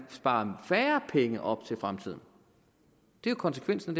sparer færre penge op til fremtiden det er konsekvensen